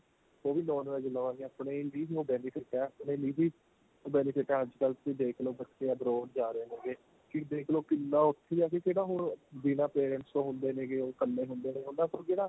ਉਹ ਵੀ non VEG ਲਵਾਂਗੇ ਆਪਣੇ benefit ਏ ਆਪਣੇ ਨੂੰ benefit ਏ ਅੱਜਕਲ ਤੁਸੀਂ ਦੇਖਲੋ ਬੱਚੇ abroad ਜਾ ਰਹੇ ਹੇਗੇ ਕੀ ਦੇਖਲੋ ਕਿੰਨਾ ਉੱਥੇ ਏ ਨਾ ਕਿਹੜਾ ਹੁਣ ਬਿੰਨਾ parents ਤੋਂ ਹੁੰਦੇ ਨੇ ਗੇ ਉਹ ਇੱਕਲੇ ਹੁੰਦੇ ਨੇ ਉਹਨਾ ਕੋਲ ਕਿਹੜਾ